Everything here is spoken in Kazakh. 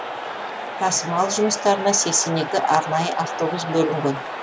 тасымал жұмыстарына сексен екі арнайы автобус бөлінген